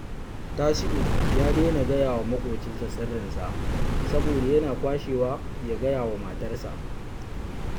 Tasi’u ya daina gaya wa maƙocinsa sirrinsa saboda yana kwashewa ya gaya wa matarsa